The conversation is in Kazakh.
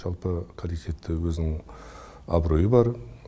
жалпы коллективте өзінің абыройы бар